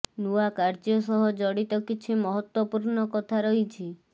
ନୂଆ କାର୍ଯ୍ୟ ସହ ଜଡ଼ିତ କିଛି ମହତ୍ତ୍ୱପୂର୍ଣ୍ଣ କଥା ରହିଛି